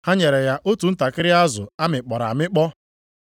Ha nyere ya otu ntakịrị azụ a mịkpọrọ amịkpọ.